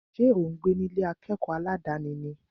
Ṣé ò ń gbé ní Ilé akẹ́kọ̀ọ́ aládàni ni?